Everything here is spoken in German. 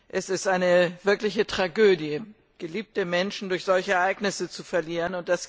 Es ist eine wirkliche Tragödie, geliebte Menschen durch solche Ereignisse zu verlieren.